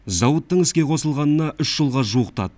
зауыттың іске қосылғанына үш жылға жуықтады